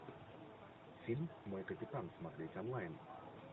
фильм мой капитан смотреть онлайн